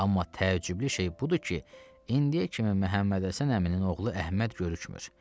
Amma təəccüblü şey budur ki, indiyə kimi Məhəmmədhəsən əminin oğlu Əhməd görükmür.